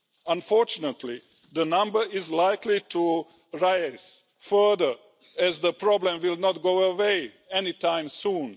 Unfortunately, the number is likely to rise further, as the problem will not go away anytime soon.